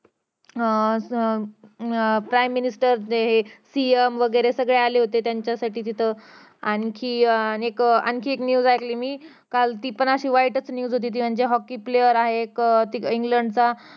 अं अं अं prime minister जे हे CM वगैरे सगळेच आले होते तिथे त्यांच्यासाठी तिथं आणखी अं एक news ऐकली मी काल ती पण वाईटच news होती hockey player आहे इंग्लंड चा